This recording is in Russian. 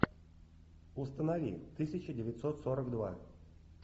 установи тысяча девятьсот сорок два